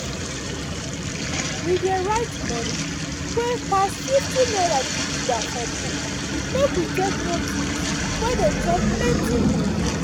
we dey write moni wey pass fifty naira gidigba for book make we take know things wey dey chop plenti moni.